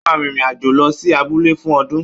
Ó máa rìnrìn-àjò lọ sí abúlé fún ọdún